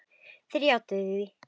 Þeir játuðu því.